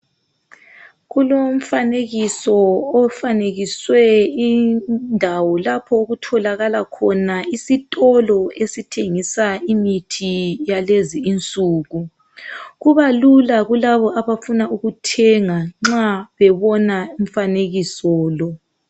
Kulomfanekiso ofanekiswe indawo lapho okutholakala khona isitolo okuthengiswa imithi yakulezinsuku kubalula kulabo abafuna ukuthenga nxa bebona umfanekiso lo.